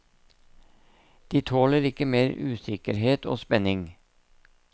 De tåler ikke mer usikkerhet og spenning.